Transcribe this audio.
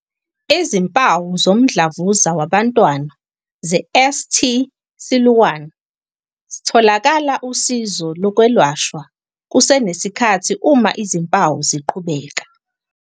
Izimpawu zomdlavuza wabantwana ze-St Siluan S - Thola usizo lokwelashwa kusenesikhathi uma izimpawu ziqhubeka.